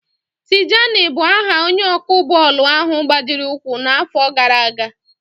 Tijani bụ aha onye ọkụ bọọlụ ahụ gbajiri ụkwụ n'àfọ́ gaara aga.